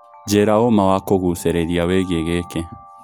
njĩira ũma wa kũgucererĩa wĩĩgĩe gĩkĩ